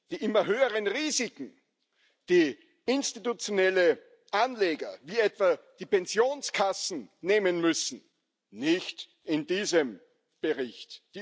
Die immer höheren Risiken, die institutionelle Anleger, wie etwa die Pensionskassen, nehmen müssen nicht in diesem Bericht.